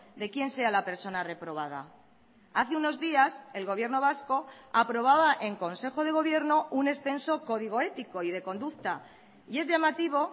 de quién sea la persona reprobada hace unos días el gobierno vasco aprobaba en consejo de gobierno un extenso código ético y de conducta y es llamativo